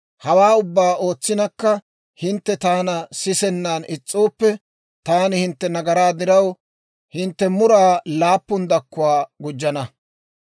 «Hawaa ubbaa ootsinakka hintte taana sisennan is's'ooppe, taani hintte nagaraa diraw hintte muraa laappun dakkuwaa gujjana.